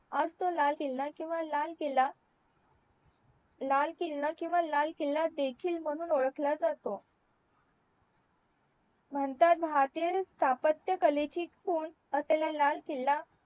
आज तो लाल किल्ला किंवा लाल किल्ला लाल किल्ला किंवा लाल किल्ला देखील म्हणून ओळखला जातो स्थापत्य कलेची खून असलेला लाल किल्ला